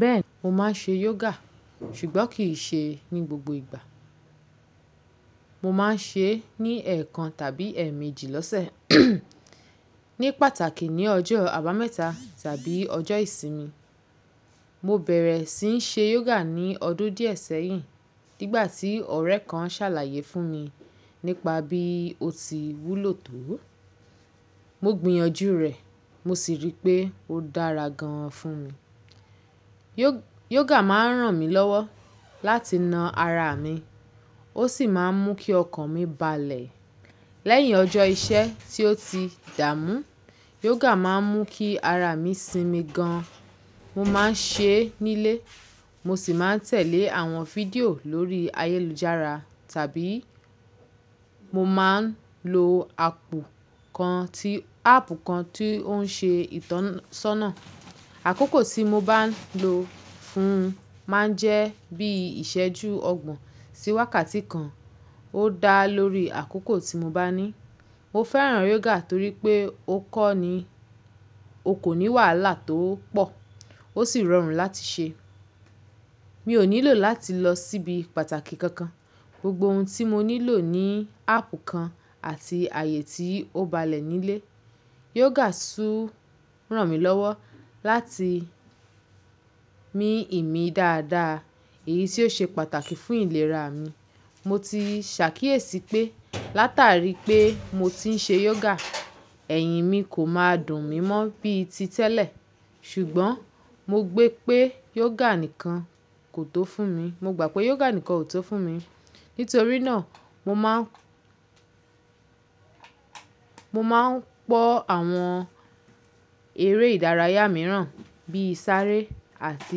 Bẹ́ẹ̀, mo máa ń ṣe yoga ṣùgbọ́n kì í ṣe ní gbogbo ìgbà. Mo máa ń ṣe é ní ẹ̀ẹ̀kan tàbí ẹ́ẹ̀méjì lọ́sẹ̀, ní pàtàkì ní ọjọ́ àbámẹ́ta tàbí ọjọ́ ìsinmi. Mo bẹ̀ẹ̀rẹ̀ sí ń ṣe yoga ní ọdún di ẹ sẹ́yìn nígbà tí ọ̀rẹ́ kan ṣàlàyé fún mi nípa bí oti wúlò tó o. Mo gbìyànjú rẹ̀ mo sì rí pé ó dára gan an fún mi. Yoga máa ń ràn mí lọ́wọ́ láti na ara mi, ó sì máa ń mú kí ọkàn mi balẹ̀. Lẹ́yìn ọjọ́ iṣẹ́ tí ó ti dààmú, yoga máa ń mú kí ara mi sinmi gan an. Mo máa ń ṣe é nílé, mo sì máa ń tẹ̀lé àwọn fídíò lórí ayélujára tàbí mo máa ń lo ápù, áápù kan tí ó ń ṣe ìtọ́sọ́nà. Àkókò tí mo bá ń lò ó fún un máa ń jẹ́ bí ìṣẹ́ju ọgbọ̀n sí wákàtí kan, ó dà lórí àkókò tí mo bá ní. Mo fẹ́ràn yoga torí pé ó kọ́ ni, o kò ní wàhálà tó pọ̀ ó sì rọrùn láti ṣe é. Mi ò nílò láti lọ síbi pàtàkì kankan. Gbogbo oun tí mo nílò ni áàpù kan àti àyè tí ó ba lẹ ni le yoga tu ràn mí lọ́wọ́ láti mí ìmí dáadáa, èyí tí ó ṣe pàtàkì fún ìlera mi. Mo ti ṣàkíyèsí pé látàrí pé mo ti ń ṣe yoga, ẹ̀hìn mi kò máa dùn mí mọ́ bí i ti tẹ́lẹ̀. Ṣùgbọ́n mo gbe pé yoga nìkan kò tó fún mi. Mo gbà pé yoga nìkan ò tó fún mi. Nítorí náà, mo máa ń, mo máa ń pọ̀ àwọn eré ìdárayá mìíràn bíi sáré àti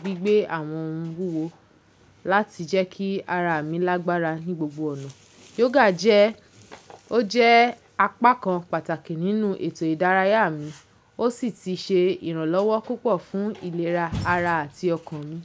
gbígbé àwọn ohun wúwo láti jẹ́ kí ara mi lágbára ní gbogbo ọ̀nà. Yoga jẹ́, o jẹ apá kan pàtàkì nínú ètò ìdárayá mi, ó sì ti ṣe ìrànlọ́wọ́ púpọ̀ fún ìlera ara àti ọkàn mi.